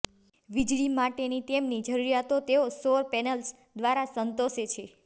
વીજળી માટેની તેમની જરૂરિયાતો તેઓ સૌર પેનલ્સ દ્વારા સંતોષે છે